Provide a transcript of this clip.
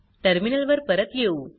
terminal वर परत येऊ